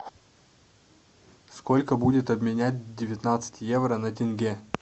сколько будет обменять девятнадцать евро на тенге